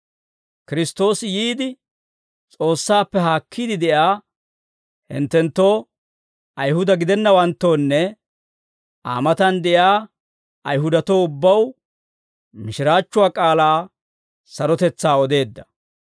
Kiristtoosi yiide, S'oossaappe haakkiide de'iyaa hinttenttoo Ayihuda gidennawanttoonne, Aa matan de'iyaa Ayihudatoo ubbaw, mishiraachchuwaa k'aalaa sarotetsaa odeedda.